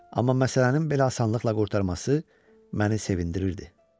Amma məsələnin belə asanlıqla qurtarması məni sevindirirdi.